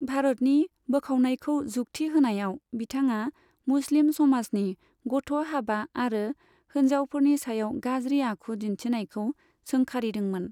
भारतनि बोखावनायखौ जुगथि होनायाव, बिथाङा मुस्लिम समाजनि गथ' हाबा आरो होनजावफोरनि सायाव गाज्रि आखु दिन्थिनायखौ सोंखारिदोंमोन।